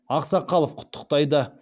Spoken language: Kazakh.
ақсақалов құттықтайды